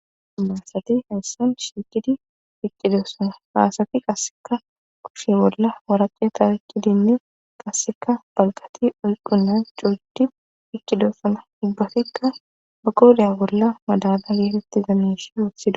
Imathati hayssan shiiqidi eqqidosona asati qassekka kushe bolla waraqata oykkidinne qassekka waraqite oykkonna coo gidi eqqidosona ubatikka ba qooriya bolla madaba geetetiza miishsha wottidosona.